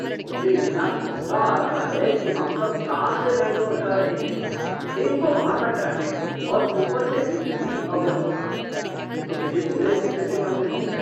मुझे इतना गुस्सा आ रहै है कि हम सब कार से बैंगलोर जा रहे हैं। एक तो वहाँ का ट्रैफ़िक और ऊपर से इतनी अव्यवस्था, यह तो किसी बुरे सपने से कम नहीं है!